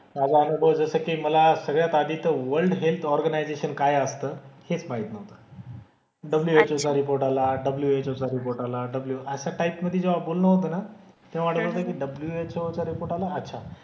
माझं अनुभव जसं की मला सगळ्यात आधी तर वल्ड हेल्थ ऑर्गनाईझेशन काय असतं हेच माहित नव्हतं. WHO चा रिपोर्ट आला, WHO चा रिपोर्ट आला, W असं टाईप मधे जेव्हा बोलणं होतं ना तेव्हा वाटत होतं की WHO चा रिपोर्ट आला अच्छा.